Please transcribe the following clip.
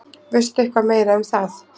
Veistu eitthvað meira um það?